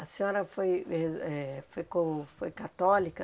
A senhora foi ez eh ficou foi católica?